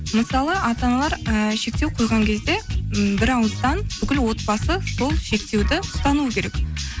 мысалы ата аналар ыыы шектеу қойған кезде м бір ауыздан бүкіл отбасы сол шектеуді ұстануы керек